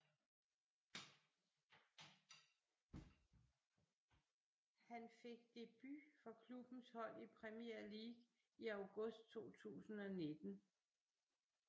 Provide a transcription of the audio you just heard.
Han fik debut for klubbens hold i Premier League i august 2019